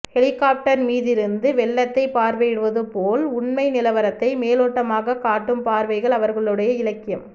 helicopter மீதிருந்து வெள்ளத்தைப் பார்வையிடுவது போல் உண்மை நிலவரத்தை மேலோட்டமாகக் காட்டும் பார்வைகள் அவர்களுடைய இலக்கியம்